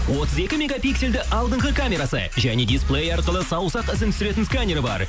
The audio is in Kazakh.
отыз екі мегапиксельді алдыңғы камерасы және дисплей арқылы саусақ ізін түсіретін сканер бар